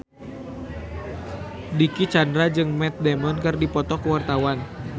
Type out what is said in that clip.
Dicky Chandra jeung Matt Damon keur dipoto ku wartawan